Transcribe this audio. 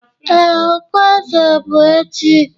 Ee, okpueze bụ echi.